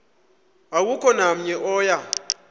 akukho namnye oya